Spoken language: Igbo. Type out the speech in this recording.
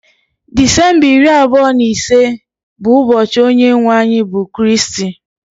Disemba iri abụọ na ise bụ ụbọchị onye nwe anyị bụ Kristi